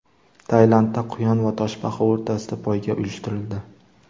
Tailandda quyon va toshbaqa o‘rtasida poyga uyushtirildi.